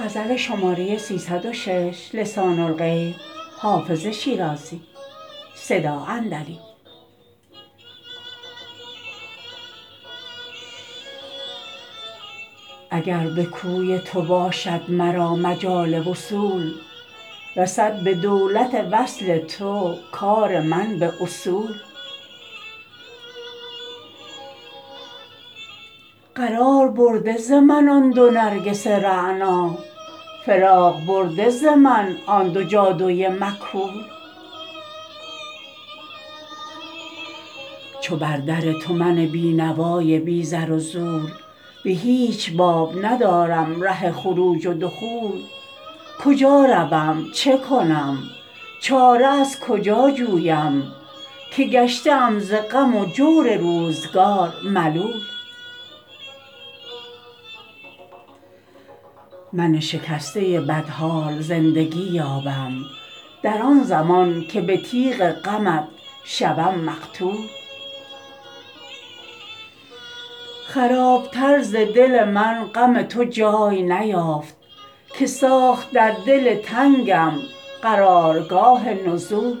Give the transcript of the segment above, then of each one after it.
اگر به کوی تو باشد مرا مجال وصول رسد به دولت وصل تو کار من به اصول قرار برده ز من آن دو نرگس رعنا فراغ برده ز من آن دو جادو ی مکحول چو بر در تو من بینوا ی بی زر و زور به هیچ باب ندارم ره خروج و دخول کجا روم چه کنم چاره از کجا جویم که گشته ام ز غم و جور روزگار ملول من شکسته بدحال زندگی یابم در آن زمان که به تیغ غمت شوم مقتول خراب تر ز دل من غم تو جای نیافت که ساخت در دل تنگم قرار گاه نزول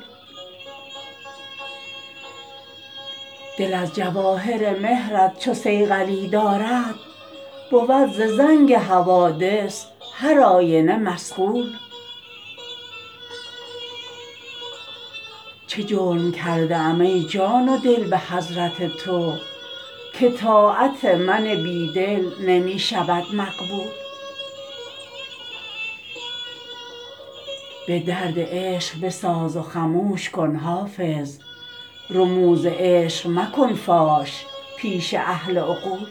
دل از جواهر مهر ت چو صیقلی دارد بود ز زنگ حوادث هر آینه مصقول چه جرم کرده ام ای جان و دل به حضرت تو که طاعت من بیدل نمی شود مقبول به درد عشق بساز و خموش کن حافظ رموز عشق مکن فاش پیش اهل عقول